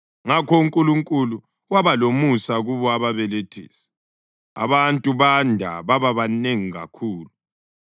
Ngakho uNkulunkulu waba lomusa kubo ababelethisi, abantu banda baba banengi kakhulu.